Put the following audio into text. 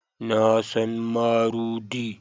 Na san marudi